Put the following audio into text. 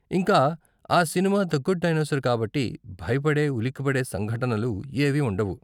ఇంకా ఆ cinema the good dinosaur కాబట్టి, భయపడే, ఉలికిపడే సంఘటనలు ఏవీ ఉండవు.